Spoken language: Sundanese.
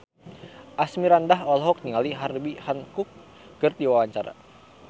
Asmirandah olohok ningali Herbie Hancock keur diwawancara